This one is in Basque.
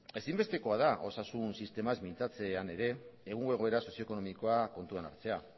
ezinbestekoa da osasun sistemaz mintzatzean ere egungo egoera sozioekonomikoa kontuan hartzea